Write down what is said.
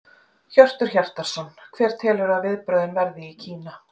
Hjörtur Hjartarson: Hver telurðu að viðbrögðin verði í Kína?